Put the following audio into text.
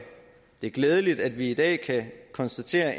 det er glædeligt at vi i dag kan konstatere